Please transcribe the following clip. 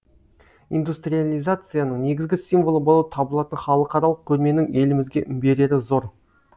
индустриалиязацияның негізгі символы болып табылатын халықаралық көрменің елімізге берері зор